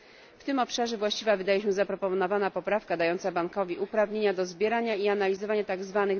W tym obszarze właściwa wydaje się być zaproponowana poprawka dająca bankowi uprawnienia do zbierania i analizowania tzw.